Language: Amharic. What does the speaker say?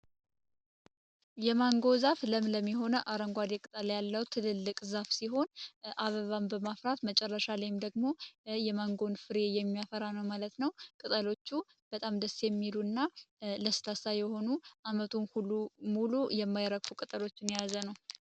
የማንጎ ዛፍ ለምለም የሆነ አረንጓዴ ቅጠል ያለው ትልልቅ ዛፍ ሲሆን፤ አበባም በመፍራት መጨረሻ ላይም ደግሞ የማንጎን ፍሬ የሚያፈራ ነው ማለት ነው። ቅጠሎቹ በጣም ደስ የሚሉ እና ለስላሳ የሆኑ ዓመቱን በሙሉ የማይረግፉ ቀጠሎችን የያዘ ነው።